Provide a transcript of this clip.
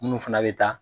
Minnu fana bɛ taa